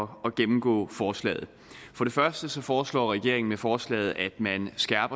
gennemgå forslaget for det første foreslår regeringen med forslaget at